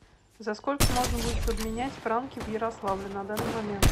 за сколько можно будет обменять франки в ярославле на данный момент